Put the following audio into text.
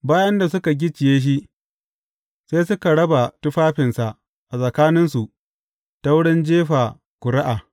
Bayan da suka gicciye shi, sai suka raba tufafinsa a tsakaninsu ta wurin jefa ƙuri’a.